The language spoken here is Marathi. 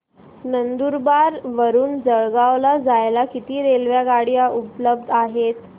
नंदुरबार वरून जळगाव ला जायला किती रेलेवगाडया उपलब्ध आहेत